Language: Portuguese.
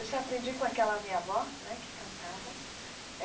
Isso eu aprendi com aquela minha avó né que cantava. É